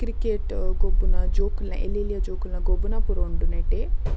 Cricket ಗೊಬ್ಬುನ ಜೋಕುಲ್ನ ಎಲ್ಲೆಲ್ಲ್ಯ ಜೋಕುಲ್ನ ಗೊಬ್ಬುನ ಪೂರ ಉಂಡು ನೆಟೆ.